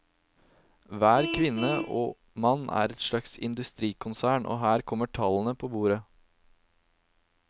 Hver kvinne og mann er et slags industrikonsern, og her kommer tallene på bordet.